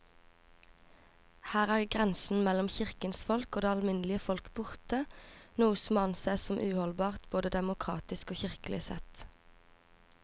Her er grensen mellom kirkens folk og det alminnelige folk borte, noe som må ansees som uholdbart både demokratisk og kirkelig sett.